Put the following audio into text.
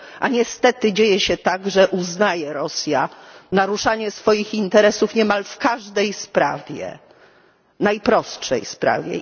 A niestety dzieje się tak, że Rosja uznaje naruszanie swoich interesów niemal w każdej sprawie, najprostszej sprawie.